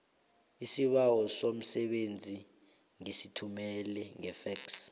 isibawo somsebenzi ngisithumele ngefexi